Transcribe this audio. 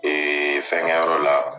Ee fɛn kɛ yɔrɔ la